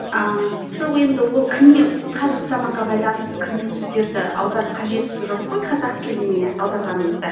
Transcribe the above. ааа жоқ енді ол кірме қазіргі заманға байланысты кірме сөздерді аударып қажеті жоқ қой қазақ тіліне аударғаныңызда